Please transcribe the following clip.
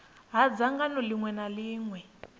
ha dzangano ḽiṅwe na ḽiṅwe